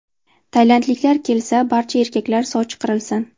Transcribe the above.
Tailandliklar kelsa, barcha erkaklar sochi qirilsin.